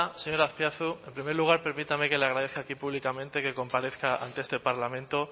señor azpiazu en primer lugar permítame que le agradezca aquí públicamente que comparezca ante este parlamento